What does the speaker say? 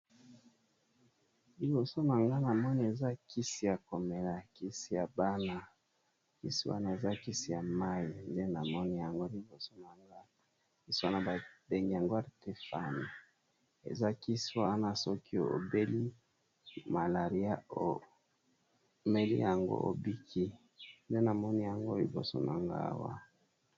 Liboso na nga, na moni eza kisi ya komela. Kisi ya bana, kisi wana eza kisi ya mai. Nde na moni yango liboso na nga. Kisi wana ba bengi yango artefane. Eza kisi wana, soki obeli malaria omeli yango obiki. Nde na moni yango liboso na nga awa.